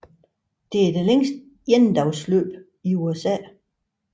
Det er det længste endagsløb i USA